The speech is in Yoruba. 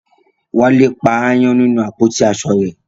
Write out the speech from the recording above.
Wálé pa aáyán nínú àpótí aṣọ rẹ̀